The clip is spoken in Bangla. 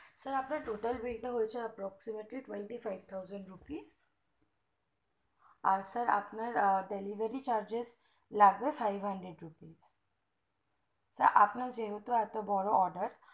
sir আপনার bill টা হয়েছে twenty twenty five thousand rupees আর sir আপনার delivery charges লাগবে five hundred rupees আপনার যেহেতু এত বড়ো order